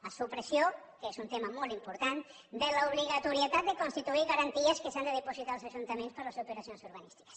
la supressió que és un tema molt important de l’obligatorietat de constituir garanties que s’han de dipositar als ajuntaments per les operacions urbanístiques